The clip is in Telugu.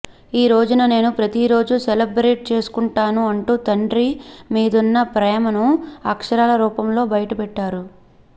ఈరోజును నేను ప్రతిరోజూ సెలబ్రేట్ చేసుకుంటాను అంటూ తండ్రి మీదున్న ప్రేమను అక్షరాల రూపంలో బయటపెట్టారు